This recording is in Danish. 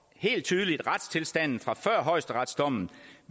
helt tydeligt at retstilstanden fra før højesteretsdommen